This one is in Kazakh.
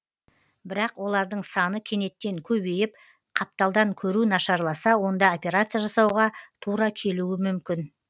бірақ олардың саны кенеттен көбейіп қапталдан көру нашарласа онда операция жасауға тура келуі мүмкін